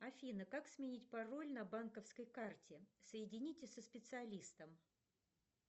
афина как сменить пароль на банковской карте соедините со специалистом